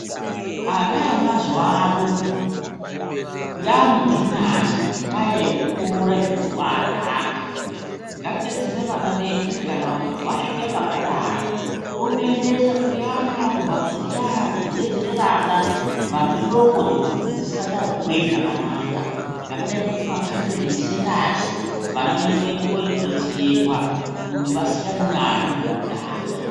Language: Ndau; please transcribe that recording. Ana emazuvano yaamidhunyasi ngenyaa yekutora zvinobaadhaka. Ngatidetsere vana vedu kuti kana wasvika pakadaro tomuendesa kuyaana kumbaatso dziyaa dzekudetsera vana vane hloko dzisingachakweyi zvakanaka, zvakadai ngekumakanzelini sentasi , vana vedu viende vondodetserwaa kuti vasiyane nazvo zvinodhakaa.